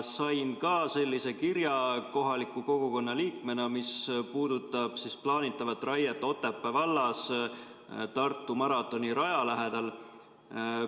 Sain ka kohaliku kogukonna liikmena sellise kirja, mis puudutab plaanitavat raiet Otepää vallas Tartu maratoni raja lähedal.